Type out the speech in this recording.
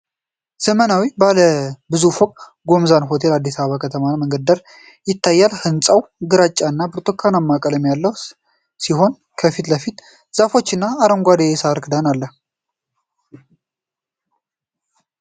ዘመናዊው ባለ ብዙ ፎቅ ጎዛመን ሆቴል በአዲስ አበባ ከተማ መንገድ ዳር ይታያል። ህንጻው ግራጫና ብርቱካናማ ቀለም ያለው ሲሆን ከፊት ለፊቱ ዛፎችና አረንጓዴ የሣር ክዳን አለ።